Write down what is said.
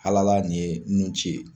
Alala nin ye nun ci ye.